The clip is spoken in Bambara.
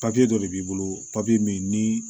Papiye dɔ de b'i bolo min ni